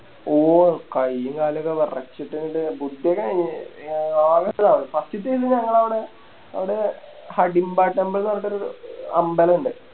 ഓ കൈയും കാലൊക്കെ വെറച്ചിട്ട് അങ്ങട്ട് ആകെ First ത്തന്നെ ഞങ്ങളവിടെ അവിടെ ഹഡിംപ Temple ന്ന് പറഞ്ഞിട്ടൊരു അമ്പലണ്ട്